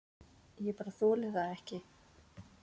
Ég bara þoli það ekki.